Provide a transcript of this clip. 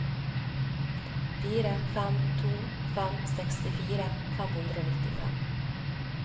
fire fem to fem sekstifire fem hundre og nittifem